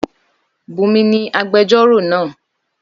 Bùnmi ni agbẹjọ́rò náà